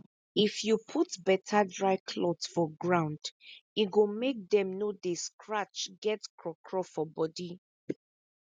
if you put better dry cloth for ground e go make dem no dey scratch get craw craw for body